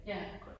Ja